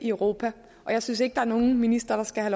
europa jeg synes ikke der er nogen minister der skal